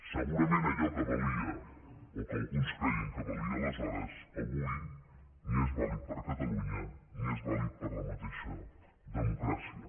segurament allò que valia o que alguns creien que valia aleshores avui ni és vàlid per a catalunya ni és vàlid per a la mateixa democràcia